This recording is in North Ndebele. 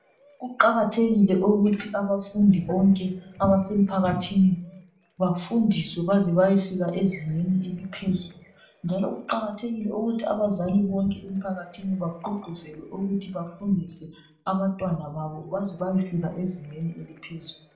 Kuqakathekile ukuthi abafundi bonke abasemphakathini bafundiswe baze bayefika ezingeni eliphezulu. Njalo kuqakathekile ukuthi abazali bonke emphakathini bagqugquzelwe ukuthi bafundise abantwana babo baze bayefika ezingeni eliphezulu.